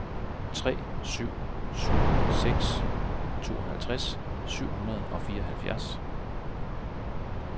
tre syv syv seks tooghalvtreds syv hundrede og fireoghalvfjerds